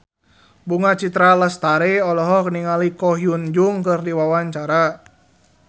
Bunga Citra Lestari olohok ningali Ko Hyun Jung keur diwawancara